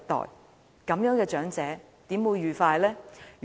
試問這樣長者怎會愉快呢？